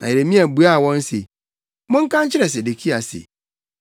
Na Yeremia buaa wɔn se, “Monka nkyerɛ Sedekia se,